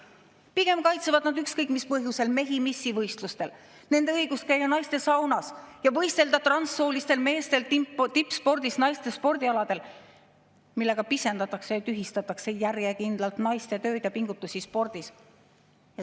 Pigem kaitsevad nad ükskõik mis põhjusel mehi missivõistlustel ja nende õigust käia naistesaunas ning transsooliste meeste õigust võistelda tippspordis naiste spordialadel, millega pisendatakse ja tühistatakse järjekindlalt naiste tööd ja pingutusi spordis.